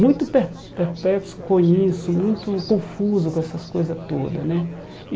Muito per perplexo com isso, muito confuso com essas coisas todas, né?